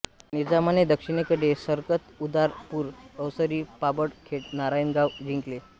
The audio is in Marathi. निझामाने दक्षिणेकडे सरकत उदापूर अवसरी पाबळ खेड नारायणगाव जिंकले